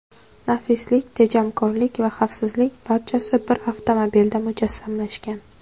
Nafislik, tejamkorlik va xavfsizlik barchasi bir avtomobilda mujassamlashgan!